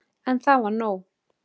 En það var nóg.